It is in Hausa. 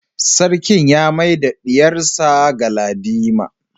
Sarki ya mai da diyarsa Galadima